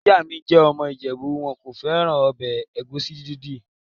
Ìyá mi jẹ́ ọmọ ìjẹ̀bú. Wọn kò fẹ́ràn ọbẹ̀ ẹ̀gúsí dídì.